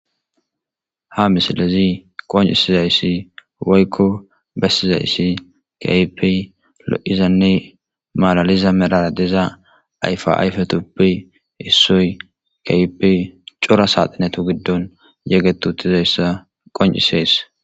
Ha misilezii qonccisizayssi woykko bessizayssi keehippe lo'oizanne malaliza medhara diza ayfa ayfetuppe issoy keehippe cora saxinettu giddon yeegetti uuttidayssa qoncises